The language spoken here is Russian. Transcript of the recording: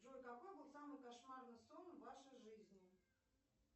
джой какой был самый кошмарный сон в вашей жизни